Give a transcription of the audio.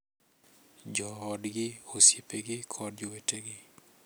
Joodgi, osiepegi, kod jowetegi.